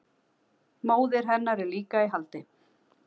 Móðir hennar er líka í haldi